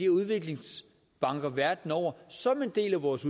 udviklingsbanker verden over som en del af vores